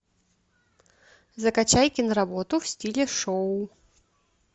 закачай киноработ в стиле шоу